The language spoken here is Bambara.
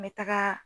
N bɛ taga